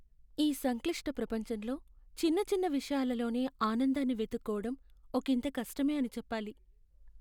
ఈ సంక్లిష్ట ప్రపంచంలో చిన్న చిన్న విషయాలలోనే ఆనందాన్ని వెతుక్కోవడం ఒకింత కష్టమే అని చెప్పాలి.